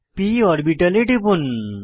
p অরবিটালে টিপুন